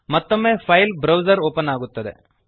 ಮತ್ತೊಮ್ಮೆ file browser open ಆಗುತ್ತದೆ